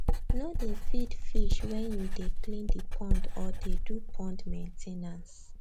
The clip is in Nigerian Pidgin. no dey feed fish when you dey clean the pond or dey do pond main ten ance